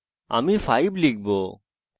আমি এইবার 5 দেবো